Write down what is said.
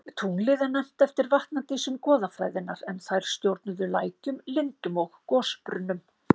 Tunglið er nefnt eftir vatnadísum goðafræðinnar en þær stjórnuðu lækjum, lindum og gosbrunnum.